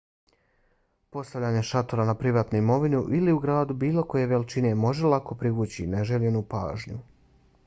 postavljanje šatora na privatnu imovinu ili u gradu bilo koje veličine može lako privući neželjenu pažnju